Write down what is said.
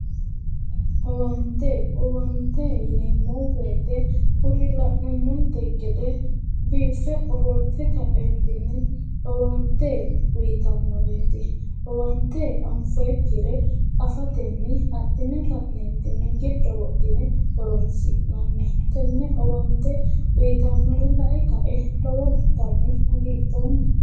Owaante. Owaante yineemmo woyite kuri la'nummomte gede biiffe ofolte kaeentinni owaante uyitannoreeti. Owaante anfoyikkire afatenni adhine ka'neentinni giddo wodhine horoonsi'nanni. Tenne owaante uyitannore lae kae lowontanni hagidhoomma.